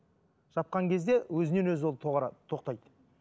жапқан кезде өзінен өзі ол тоқтайды